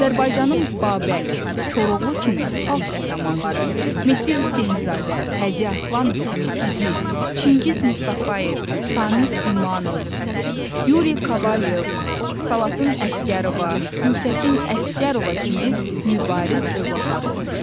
Azərbaycanın Babək, Koroğlu kimi xalq qəhrəmanları, Mehdi Hüseynzadə, Həzi Aslanov kimi igid, Çingiz Mustafayev, Samid İmanov, Yuri Kovalyov, Salatın Əsgərova, Gültəkin Əsgərova kimi mübariz övladları olmuşdu.